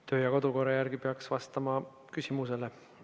Kodu‑ ja töökorra järgi peaks vastama küsimusele.